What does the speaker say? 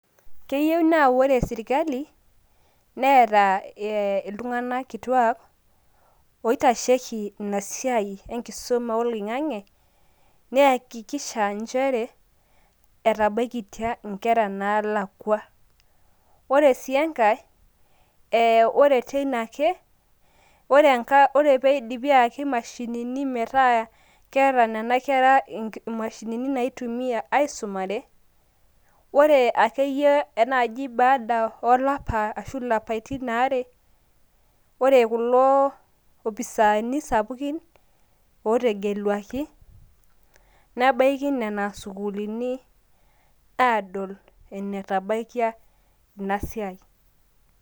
keyieu naa ore sirkali, neeta iltunganak kituak oitasheki ina siai enkisuma oloing'ang'e. neyakikisha nchere etebaikitia nkera naalakua. ore sii enkae, ore teina ake, ore pee eidipi aayaki imashinini metaa keeta nena kera imashinini naitumia aisumare, ore akeyie naaji baada olapa ashu ilapaitin aare, ore kulo opisaani sapukin ootegeluaki nebaiki nena sukuulini aadol enetabaikia ina siai.